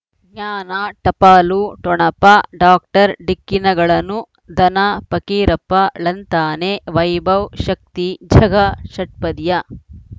ಜ್ಞಾನ ಟಪಾಲು ಠೊಣಪ ಡಾಕ್ಟರ್ ಢಿಕ್ಕಿ ಣಗಳನು ಧನ ಫಕೀರಪ್ಪ ಳಂತಾನೆ ವೈಭವ್ ಶಕ್ತಿ ಝಗಾ ಷಟ್ಪದಿಯ